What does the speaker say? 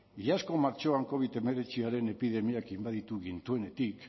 iazko martxoan covid hemeretziaren epidemiak inbaditu gintuenetik